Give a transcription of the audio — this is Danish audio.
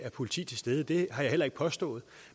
politi stede det har jeg heller ikke påstået